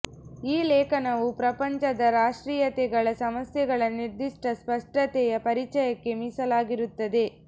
ಈ ಲೇಖನವು ಪ್ರಪಂಚದ ರಾಷ್ಟ್ರೀಯತೆಗಳ ಸಮಸ್ಯೆಗಳ ನಿರ್ದಿಷ್ಟ ಸ್ಪಷ್ಟತೆಯ ಪರಿಚಯಕ್ಕೆ ಮೀಸಲಾಗಿರುತ್ತದೆ